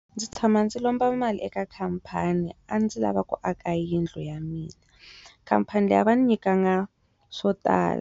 Ndzi tshama ndzi lomba mali eka khampani a ndzi lava ku aka yindlu ya mina khampani leyi a va ni nyikangi swo tala.